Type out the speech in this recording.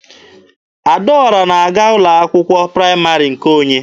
Adaọra na-aga ụlọ akwụkwọ praịmarị nke onye.